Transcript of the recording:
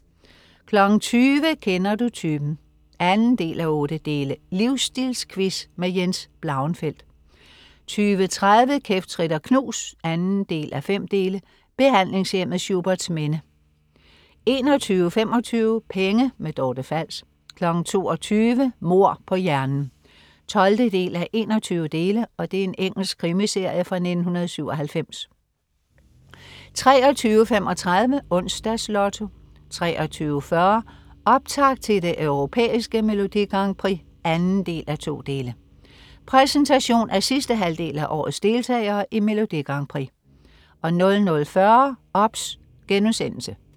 20.00 Kender du typen? 2:8. Livstilsquiz. Jens Blauenfeldt 20.30 Kæft, trit og knus 2:5. Behandlingshjemmet Schuberts Minde 21.25 Penge. Dorte Fals 22.00 Mord på hjernen 12:21. Engelsk krimiserie fra 1997 23.35 Onsdags Lotto 23.40 Optakt til det Europæiske Melodi Grand Prix 2:2. Præsentation af sidste halvdel af årets deltagere i Melodi Grand Prix 00.40 OBS*